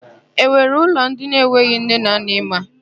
E nwere ụlọ ndị enweghị nne na nna ị ma?